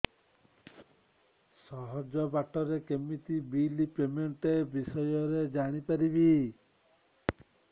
ସହଜ ବାଟ ରେ କେମିତି ବିଲ୍ ପେମେଣ୍ଟ ବିଷୟ ରେ ଜାଣି ପାରିବି